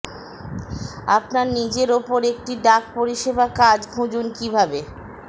আপনার নিজের উপর একটি ডাক পরিষেবা কাজ খুঁজুন কিভাবে